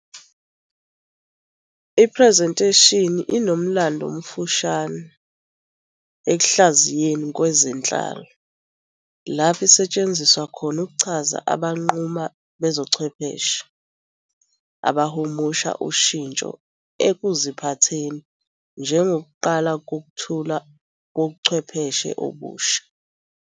Iphrezentheshini inomlando omfushane ekuhlaziyeni kwezenhlalo, lapho isetshenziswe khona ukuchaza abanquma bezobuchwepheshe abahumusha ushintsho ekuziphatheni njengokuqala ngokwethulwa kobuchwepheshe obusha.